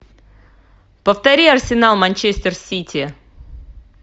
повтори арсенал манчестер сити